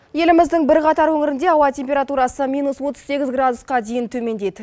еліміздің бірқатар өңірінде ауа температурасы минус отыз сегіз градусқа дейін төмендейді